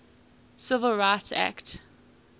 civil rights act